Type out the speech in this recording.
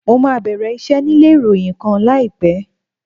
Mo máa bẹ̀rẹ̀ iṣẹ́ nílé ìròyìn kan láìpẹ́.